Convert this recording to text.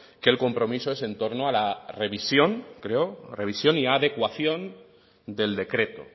que el compromiso es en torno a la revisión creo revisión y adecuación del decreto